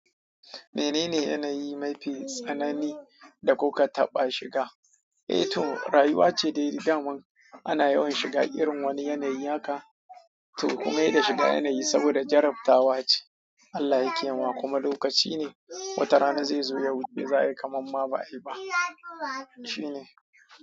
Menene yanayi mafi tsanani da kuka taɓa shiga? Eh to, rayuwa ce dai daman ana yawan shiga irin wani yanayi haka to kuma heda shiga yanayi saboda jarabtawa ce. Allah yake ma kuma lokaci ne watarana zai zo ya wuce za a yi kamar ma ba a yi ba. Shi ne.